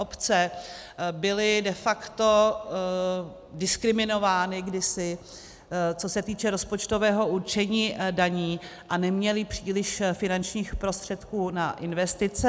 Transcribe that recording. Obce byly de facto diskriminovány kdysi, co se týče rozpočtového určení daní, a neměly příliš finančních prostředků na investice.